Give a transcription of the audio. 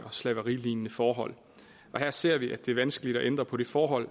og slaverilignende forhold og her ser vi at det er vanskeligt at ændre på det forhold